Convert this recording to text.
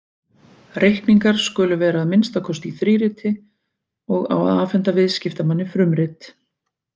Reikningar skulu vera að minnsta kosti í þríriti og á að afhenda viðskiptamanni frumrit.